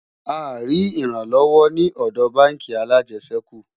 a rí ìran lówó ní òdò bánkì alàjesèkú